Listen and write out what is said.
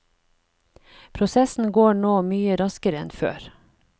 Prosessen går nå mye raskere enn før.